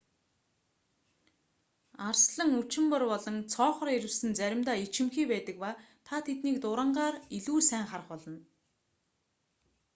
арслан үчимбар болон цоохор ирвэс нь заримдаа ичимхий байдаг ба та тэднийг дурангаар илүү сайн харах болно